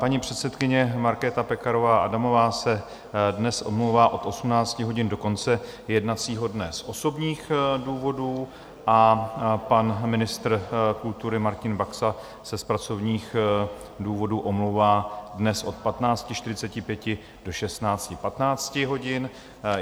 Paní předsedkyně Markéta Pekarová Adamová se dnes omlouvá od 18 hodin do konce jednacího dne z osobních důvodů a pan ministr kultury Martin Baxa se z pracovních důvodů omlouvá dnes od 15.45 do 16.15 hodin.